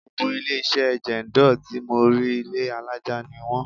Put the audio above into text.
Gbogbo ilé-iṣẹ́ Jendol tí mò ń rí, ilé alaja ni wón.